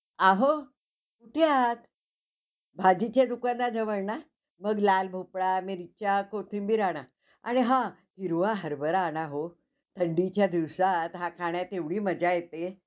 आहो ह्या भाजीच्या दुकानाजवळ ना मग लाल भोपळा, मिरच्या, कोथींबीर आणा. आणि हा हिरवा हरभरा आणा हो. थंडीच्या दिवसात हा खाण्यात एवढी मजा येते.